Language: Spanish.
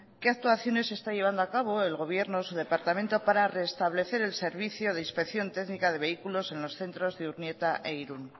qué actuaciones se está llevando a cabo el gobierno su departamento para reestablecer el servicio de inspección técnica de vehículos en los centros de urnieta e irun